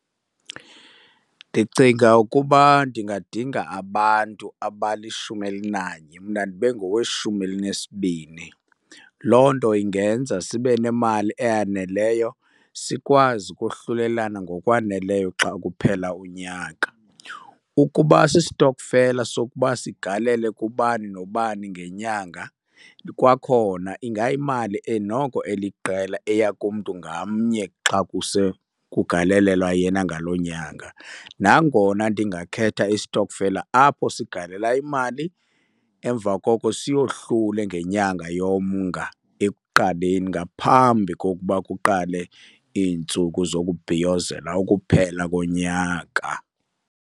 Ndicinga ukuba ndingadinga abantu abalishumi elinanye, mna ndibe ngoweshumi elinesibini. Loo nto ingenza sibe nemali eyaneleyo sikwazi ukohlulelana ngokwaneleyo xa kuphela unyaka. Ukuba sistokfela sokuba sigalele kubani nobani ngenyanga, kwakhona ingayimali noko eliqela eya kumntu ngamnye xa kusekugalelelwa yena ngaloo nyanga. Nangona ndingakhetha isitokfela apho sigalela imali, emva koko siyohlule ngenyanga yoMnga ekuqaleni ngaphambi kokuba kuqale iintsuku zokubhiyizela ukuphela konyaka.